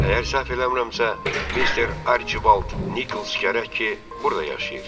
Əgər səhv eləmirəmsə, Mister Archibald Nikols gərək ki, burda yaşayır.